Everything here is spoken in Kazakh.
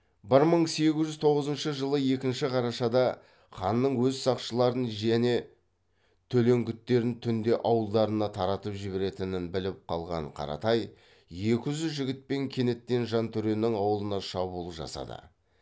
бір мың сегіз жүз тоғызыншы жылы екінші қарашада ханның өз сақшыларын және төлеңгіттерін түнде ауылдарына таратып жіберетінін біліп қалған қаратай екі жүз жігітпен кенеттен жантөренің ауылына шабуыл жасады